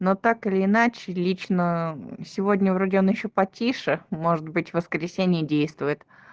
но так или иначе лично сегодня вроде он ещё потише может быть воскресенье действует